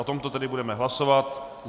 O tomto tedy budeme hlasovat.